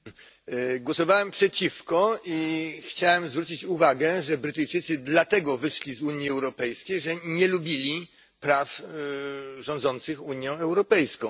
Pani Przewodnicząca! Głosowałem przeciwko i chciałem zwrócić uwagę, że Brytyjczycy dlatego wyszli z Unii Europejskiej, że nie lubili praw rządzących Unią Europejską.